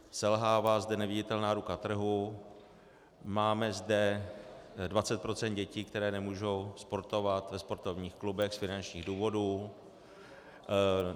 Selhává zde neviditelná ruka trhu, máme zde 20 % dětí, které nemůžou sportovat ve sportovních klubech z finančních důvodů.